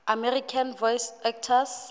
american voice actors